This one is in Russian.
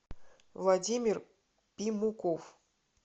владимир пимуков